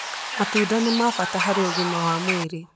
Matunda nĩ ma bata harĩ ũgima wa mwĩrĩ.